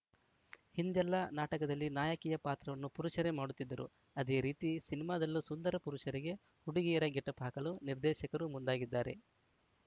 ಹಿಂದೆಲ್ಲಾ ನಾಟಕದಲ್ಲಿ ನಾಯಕಿಯ ಪಾತ್ರವನ್ನು ಪುರುಷರೇ ಮಾಡುತ್ತಿದ್ದರು ಅದೇ ರೀತಿ ಸಿನಿಮಾದಲ್ಲೂ ಸುಂದರ ಪುರುಷರಿಗೆ ಹುಡುಗಿಯರ ಗೆಟಪ್‌ ಹಾಕಲು ನಿರ್ದೇಶಕರು ಮುಂದಾಗಿದ್ದಾರೆ